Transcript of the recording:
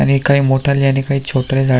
आणि काई मोठाले आणि काई छोटाले झाड --